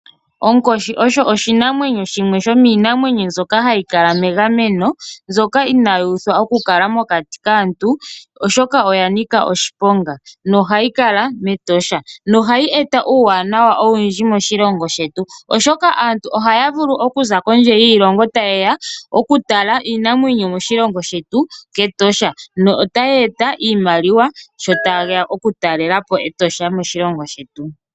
Onkoshi osho oshinanwenyo shono shili megameno inashi pitikwa oku kala pokati kaantu, oshoka oya nika oshiponga. Ohayi kala mEtosha yo oha yeeta aantu kuza kondje yiilongo ta yeya oku tala iinamwenyo metosha nohashi eta iiyemo moshilongo.